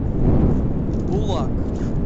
булак